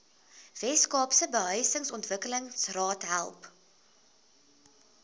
weskaapse behuisingsontwikkelingsraad help